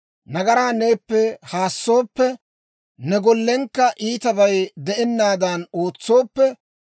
nagaraa neeppe haassooppe, ne gollenkka iitabay de'ennaadan ootsooppe,